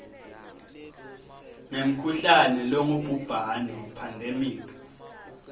ngemkhuhlane longubhubhane pandemic